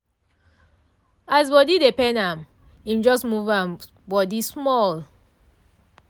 as body dey pain am im just move im body small.